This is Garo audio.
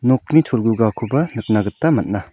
nokni cholgugakoba nikna gita man·a.